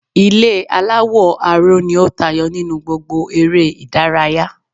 Ilé aláwò aró ni ó tayo nínú gbogbo ere ìdárayá